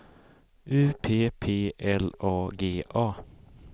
U P P L A G A